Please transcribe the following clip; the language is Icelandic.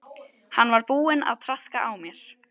Hann var búinn að traðka á mér.